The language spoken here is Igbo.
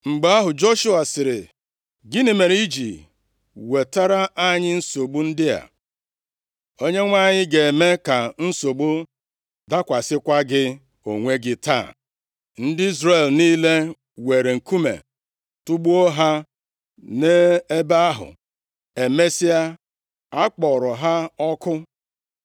Mgbe ahụ, Joshua sịrị, “Gịnị mere i ji wetara anyị nsogbu ndị a? Onyenwe anyị ga-eme ka nsogbu dakwasịkwa gị onwe gị taa.” Ndị Izrel niile weere nkume tugbuo ha nʼebe ahụ. Emesịa, a kpọrọ ha ọkụ.